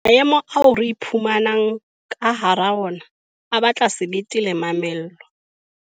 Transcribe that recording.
Maemo ao re iphumanang ka hara ona a batla sebete le mamello.